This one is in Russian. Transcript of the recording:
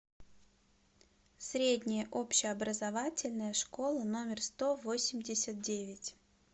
средняя общеобразовательная школа номер сто восемьдесят девять